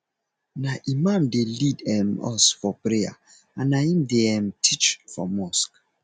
na imam dey lead um us for prayer and na im dey um teach for mosque